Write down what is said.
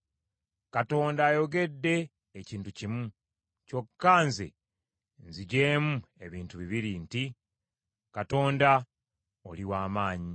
Katonda ayogedde ekintu kimu, kyokka nze nziggyemu ebintu bibiri nti: Katonda, oli w’amaanyi,